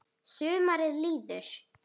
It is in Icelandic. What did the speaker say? Sumarið líður.